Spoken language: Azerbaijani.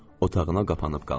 Otağına qapanıb qaldı.